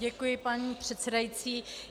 Děkuji, paní předsedající.